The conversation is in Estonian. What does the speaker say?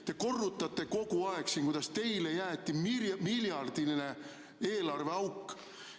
Te kogu aeg korrutate, kuidas teile jäeti miljardiline eelarveauk.